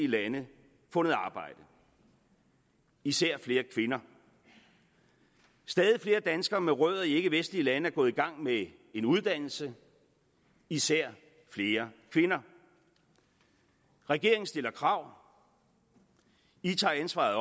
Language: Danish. lande fundet arbejde især flere kvinder og stadig flere danskere med rødder i ikkevestlige lande er gået i gang med en uddannelse især flere kvinder regeringen stiller krav i tager ansvaret